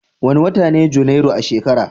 Wane wata ne Janairu a shekara?